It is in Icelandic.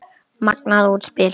Magnað útspil.